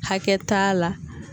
Hakɛ t'a la